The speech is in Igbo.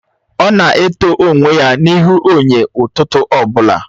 Ọ na eto onwe ya n'ihu enyo ụtụtụ ọbụla.